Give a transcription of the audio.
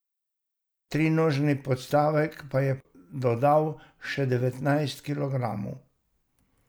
Trinožni podstavek pa je dodal še devetnajst kilogramov.